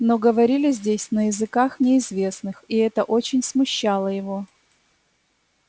но говорили здесь на языках неизвестных и это очень смущало его